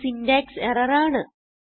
ഇത് syntax error ആണ്